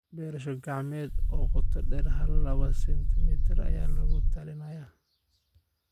beerasho gacmeed oo qoto dheer hal laba sentimir ayaa lagula talinayaa